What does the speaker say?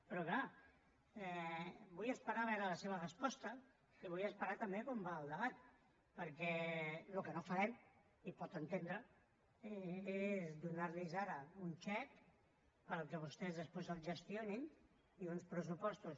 però clar vull esperar a veure la seva resposta i vull esperar també com va el debat perquè el que no farem i ho pot entendre és donar los ara un xec perquè vostès després el gestionin i uns pressupostos